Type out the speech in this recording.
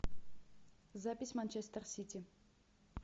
запись манчестер сити